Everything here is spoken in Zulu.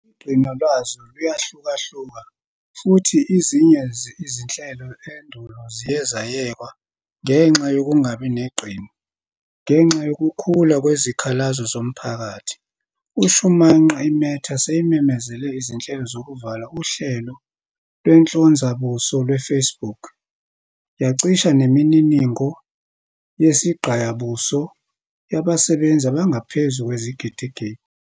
Igqino lwazo luyahlukahluka, futhi izinye izinhlelo endulo ziye zayekwa ngenxa yokungabi negqino. Ngenxa yokukhula kwezikhalazo zomphakathi, umShumanqa iMeta seyimemezele izinhlelo zokuvala uhlelo lwenhlonzabuso lwe-Facebook, yacisha nemininingo yesigqaya buso yabasebenzisi abangaphezu kwezigidigidi.